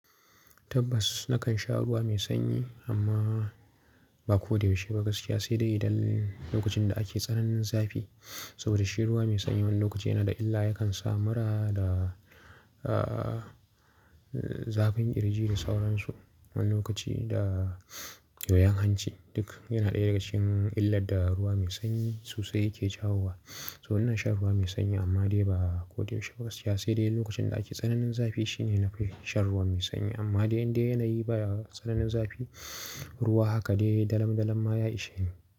Tabbas nakan sha ruwa mai sanyi amma ba ko da yaushe ba gaskiya. Sai dai idan lokacin da ake tsananin zafi. Saboda shi ruwa mai sanyi wani lokaci yana da illa, yakan sa mura da, ah, zafin ƙirji da sauransu. Wani lokaci da yoyon hanci duk yana ɗaya daga cikin illar da ruwa mai sanyi sosai yake jawo wa. So ina shan ruwa mai sanyi amma dai ba ko da yaushe ba gaskiya. Sai dai lokacin da ake tsananin zafi shi ne na fi shan ruwa mai sanyi. Amma dai in dai yana yi baya tsananin zafi, ruwa haka dai dalan dalan ma ya ishe ni.